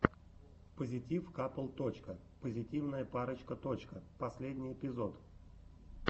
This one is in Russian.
позитив капл точка позитивная парочка точка последний эпизод